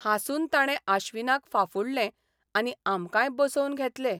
हांसून ताणे आश्चिनाक फाफुडलें आनी आमकांय बसोवन घेतले.